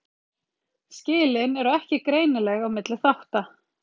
Skilin eru ekki greinileg á milli þátta.